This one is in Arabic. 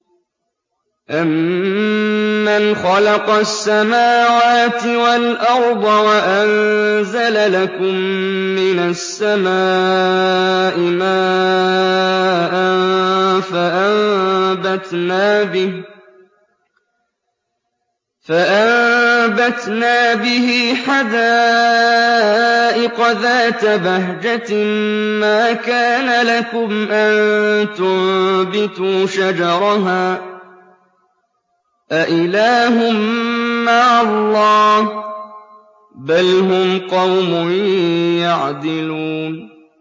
أَمَّنْ خَلَقَ السَّمَاوَاتِ وَالْأَرْضَ وَأَنزَلَ لَكُم مِّنَ السَّمَاءِ مَاءً فَأَنبَتْنَا بِهِ حَدَائِقَ ذَاتَ بَهْجَةٍ مَّا كَانَ لَكُمْ أَن تُنبِتُوا شَجَرَهَا ۗ أَإِلَٰهٌ مَّعَ اللَّهِ ۚ بَلْ هُمْ قَوْمٌ يَعْدِلُونَ